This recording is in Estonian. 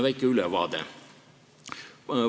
Väike ülevaade.